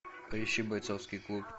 поищи бойцовский клуб